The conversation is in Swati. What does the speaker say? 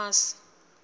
naas